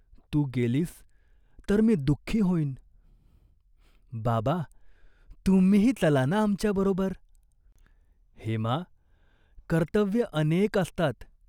तू गेलीस तर मी दुखी होइन." " बाबा, तुम्हीही चला ना आमच्याबरोबर." "हेमा, कर्तव्यं अनेक असतात.